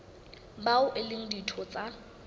bao e leng ditho tsa